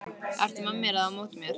Ertu með mér eða á móti mér?